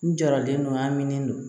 N jɔra den dɔ min don